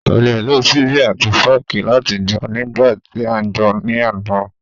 Kò le lo ṣíbí àti fọ́ọ̀kì láti jẹun nígbà tí à ń jẹun ní àná